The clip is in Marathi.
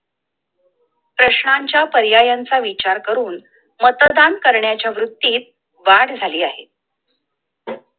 प्रश्नांच्या पर्यायांचा विचार करून मतदान करण्याच्या वृत्तीत वाढ झाली आहे!